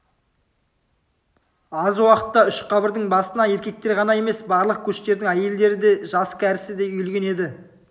аз уақытта үш қабырдың басына еркектер ғана емес барлық көштердің әйелдері де жас-кәрісі де үйілген еді